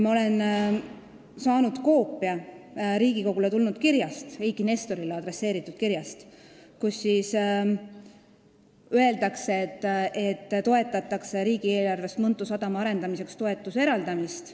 Ma olen saanud koopia Riigikogule tulnud kirjast, Eiki Nestorile adresseeritud kirjast, kus öeldakse, et toetatakse riigieelarvest Mõntu sadama arendamiseks toetuse eraldamist.